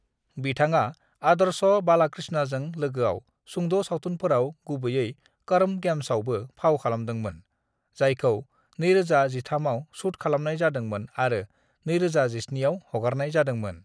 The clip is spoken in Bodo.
"बिथाङा आदर्श बालाकृष्णजों लोगोआव सुंद' सावथुनफोराव, गुबैयै कर्म गेम्सआवबो फाव खालामदोंमोन, जायखौ 2013 आव शुट खालामनाय जादोंमोन आरो 2017 आव हगारनाय जादोंमोन।"